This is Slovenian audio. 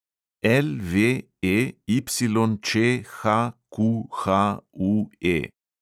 LVEYČHQHUE